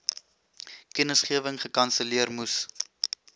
kennisgewing gekanselleer moes